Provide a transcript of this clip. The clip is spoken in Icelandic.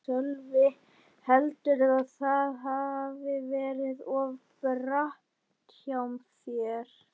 Sölvi: Heldurðu að það hafi verið of bratt hjá þér?